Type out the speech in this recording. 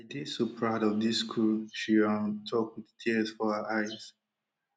dey so proud of dis crew she um tok wit tears for her eyes